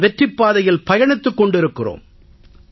நாம் வெற்றிப் பாதையில் பயணித்துக் கொண்டிருக்கிறோம்